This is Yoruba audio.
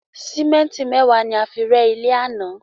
Símétì mẹ́ẹ̀wá ni a rẹ́ ilé àná